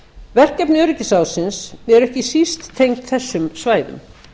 verkefni öryggisráðsins eru ekki síst tengd þessum svæðum